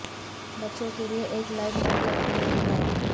بچوں کے لئے ایک لائٹ مرکب کے لئے ہدایت